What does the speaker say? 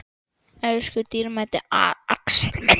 Elsku dýrmæti Axel minn.